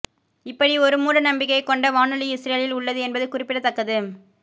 இப்படி ஒரு மூட நம்பிக்கையை கொண்ட வானொலி இஸ்ரேலில் உள்ளது என்பது குறிப்பிடத்தக்கது